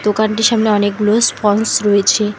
দোকানটির সামনে অনেকগুলো স্পঞ্জ রয়েছে।